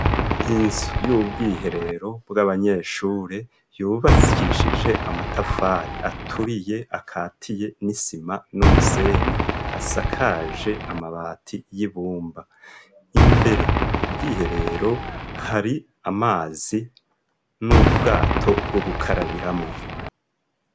Inzu y'ubwiherero bw'abanyeshure yubatsishije amatafari aturiye akatiye n'isima n'umusenyi asakaje amabati y'ibumba imbere ku bwiherero hari amazi n'ubwato bwo gukarabiramwo.